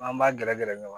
An b'a gɛrɛ gɛrɛ ɲɔgɔn na